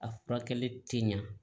A furakɛli tɛ ɲa